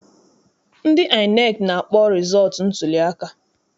Ndị INEC na-akpọ rịzọọtụ ntuliaka.